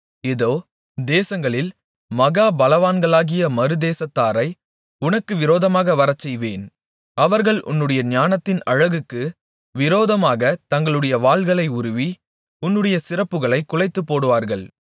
இதோ தேசங்களில் மகா பலவான்களாகிய மறுதேசத்தாரை உனக்கு விரோதமாக வரச்செய்வேன் அவர்கள் உன்னுடைய ஞானத்தின் அழகுக்கு விரோதமாகத் தங்களுடைய வாள்களை உருவி உன்னுடைய சிறப்புகளைக் குலைத்துப்போடுவார்கள்